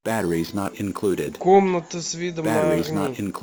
комната с видом на огни